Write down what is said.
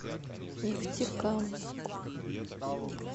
нефтекамску